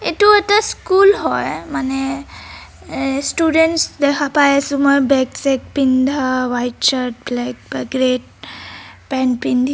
এইটো এটা স্কুল হয় মানে এএ ষ্টুডেন্টছ দেখা পাই আছোঁ মই বেগ চেগ পিন্ধা হোৱাইট শ্বাৰ্ট ব্লেক বা গ্ৰেট পেন্ট পিন্ধি --